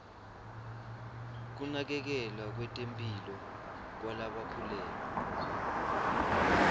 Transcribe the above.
kunakekelwa kwetemphilo kwalabakhulelwe